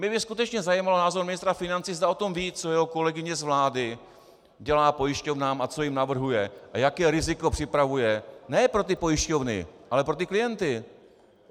Mě by skutečně zajímal názor ministra financí, zda o tom ví, co jeho kolegyně z vlády dělá pojišťovnám a co jim navrhuje a jaké riziko připravuje - ne pro ty pojišťovny, ale pro ty klienty.